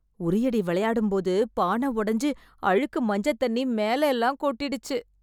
உறியடி விளையாடும்போது பானை ஒடஞ்சு அழுக்கு மஞ்சத் தண்ணி மேலயெல்லாம் கொட்டிடுச்சு.